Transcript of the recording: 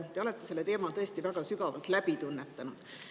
Te olete selle teema tõesti väga sügavalt läbi tunnetanud.